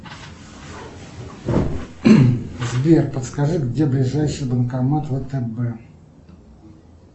сбер подскажи где ближайший банкомат втб